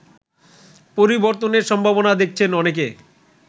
পরিবর্তনের সম্ভাবনা দেখছেন অনেকে